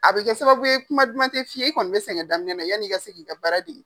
A be kɛ sababu ye kuma duman te f'i ye i kɔni be sɛngɛ daminɛna na yani i ka se k'i ka baara dege.